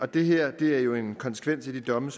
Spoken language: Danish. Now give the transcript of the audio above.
det her er jo en konsekvens af de domme